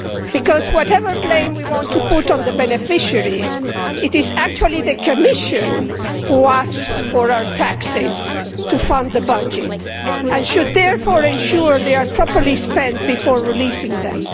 Because whatever blame we want to put on the beneficiaries, it is actually the Commission which asks for our taxes to fund the budgets and which should therefore ensure they are properly spent before releasing them.